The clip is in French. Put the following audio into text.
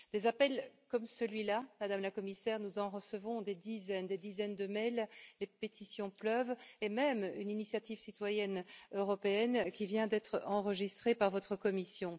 Des appels comme celui là, Madame la Commissaire, nous en recevons des dizaines. Nous recevons des dizaines de courriels, les pétitions pleuvent, et même une initiative citoyenne européenne, qui vient d'être enregistrée par votre Commission.